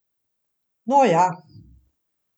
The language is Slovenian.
No ja.